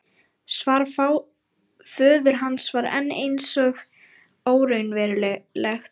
Svar föður hans var enn eins og óraunverulegt.